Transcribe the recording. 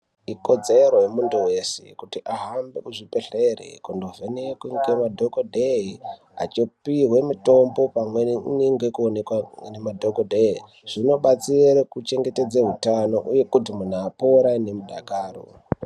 Ikodzero yemuntu weshe kuti ahambe kuzvibhedhlera kundovhenekwa ngemadhokodheya achipiwa mitombo, pamweni unode kuonekwa nemadhokodheya zvibatsire kuchengetedza utano uye kuti munhu apore nemudakaro.